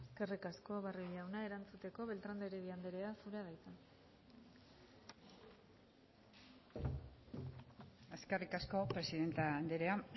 eskerrik asko barrio jauna erantzuteko beltrán de heredia andrea zurea da hitza eskerrik asko presidente andrea